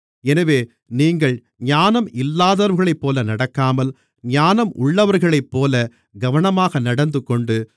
எனவே நீங்கள் ஞானம் இல்லாதவர்களைப்போல நடக்காமல் ஞானம் உள்ளவர்களைப்போலக் கவனமாக நடந்துகொண்டு